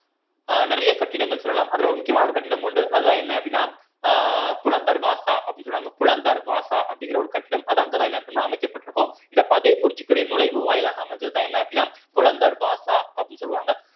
அஹ் நிறைய கட்டிடங்கள் சொல்லலாம் அதுல ஒரு முக்கியமான ஒரு கட்டிடம் உண்டு அதுதான் என்ன அப்படின்னா அஹ் புலந்த் தர்வாசா அப்படின்னு சொல்லுவாங்க புலந்த் தர்வாசா அப்படிங்கிற ஒரு கட்டம் அது அங்கதான் என்ன ஆயிருக்கும்ன்னா அமைக்கபட்டிருக்கும் இந்த ஃபத்தேப்பூர் சிக்ரி நுழைவு வாயிலாக அமைஞ்சதுதான் என்ன அப்படின்னா புலந்த் தர்வாசா அப்படின்னு சொல்லுவாங்க